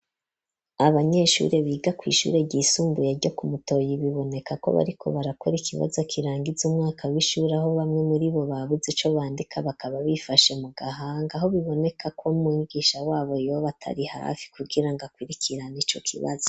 Abanyeshure biga ku ishure ry'isumbuye ryo Kumutoyi biboneka ko bariko barakora ikibazo kirangitza umwaka w'ishuri aho bamwe muri bo babuze co bandika bakaba bifashe mu gahanga aho biboneka ko mungisha wabo yob atari hafi kugira ngo akurikirana ico kibazo.